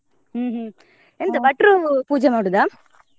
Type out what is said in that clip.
ಹ್ಮ್ ಹ್ಮ್ ಭಟ್ರು ಪೂಜೆ ಮಾಡೋದ?